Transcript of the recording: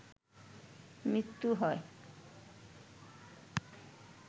মৃত্যু হয়